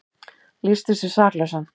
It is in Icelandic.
Lýsti sig saklausan